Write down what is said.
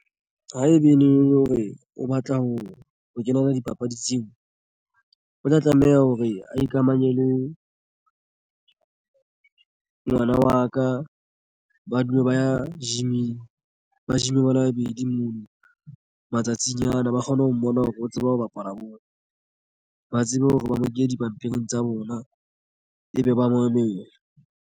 Haebe le hore o batla ho kenela dipapadi tseo o tla tlameha hore a ikamanye le ngwana wa ka. Ba dule ba e ya gym-ng ba gym bale babedi mono matsatsing ana ba kgone ho mmona hore o tsebe ho bapala bona ba tsebe hore ba mo ke dipampiring tsa bona ebe ba mamela.